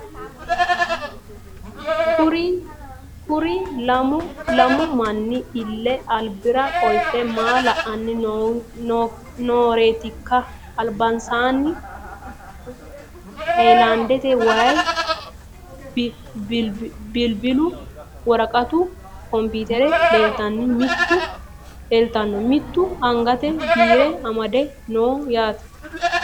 Kuri lamu manni ille alibbira qolite maa la'ani nooretikka alibbanisanni hayilaniddete wayi, bilibbilu, woraqqattu, computer leelitanno mittu anigate biire amadde noo yaatte